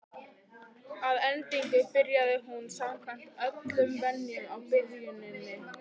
Að endingu byrjaði hún samkvæmt öllum venjum á byrjuninni.